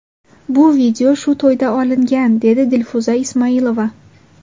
Bu video shu to‘yda olingan”, dedi Dilfuza Ismoilova.